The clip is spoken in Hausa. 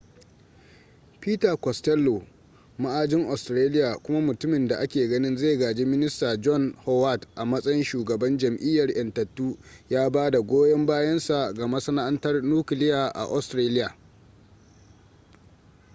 peter costello ma'ajin australia kuma mutumin da ake ganin zai gaji minista john howard a matsayin shugaban jam'iyyar 'yantattu ya bada goyan bayan sa ga masana'antar nukiliya a australia